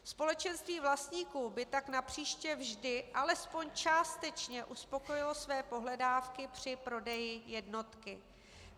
Společenství vlastníků by tak napříště vždy alespoň částečně uspokojilo své pohledávky při prodeji jednotky.